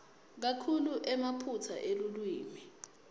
kakhulu emaphutsa elulwimi